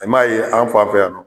I m'a ye an fan fɛ yan nɔ